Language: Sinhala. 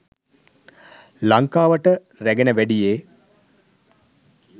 ලංකාවට රැගෙන වැඩියේ